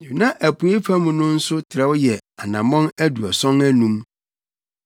Na apuei fam no nso trɛw yɛ anammɔn aduɔson anum.